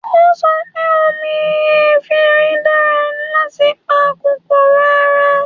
O sọ pé omi efinrin dára láti pa kòkòrò ara